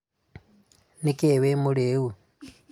Nikĩĩ wĩ mũrĩu?